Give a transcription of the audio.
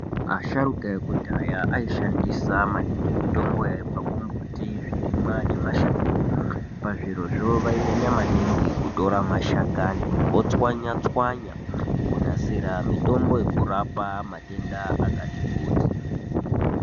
Asharuka ekudhaya ashandisa maningi mitombo yaibva kumbuti, zvirimwa nemashango. Pazvirizvo vainyamya maningi kutora mashakani votswanya-tswanya kunasira mitombo yekurapa matenda akati kuti.